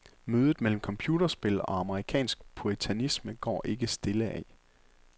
Mødet mellem computerspil og amerikansk puritanisme går ikke stille af.